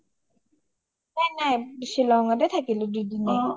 নাই নাই শ্বিলংতে থাকিলো দুদিনয়ে